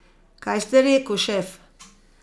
Kaj ste reku, šef?